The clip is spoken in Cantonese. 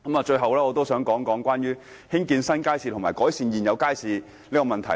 最後，我想討論有關興建新街市和改善現有街市的問題。